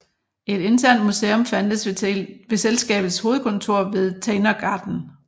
Et internt museum fandtes ved selskabets hovedkontor ved Tegnérgatan